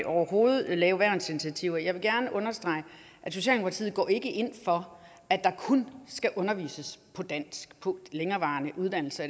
overhovedet lave værnsinitiativer jeg vil gerne understrege at socialdemokratiet ikke går ind for at der kun skal undervises på dansk på længerevarende uddannelser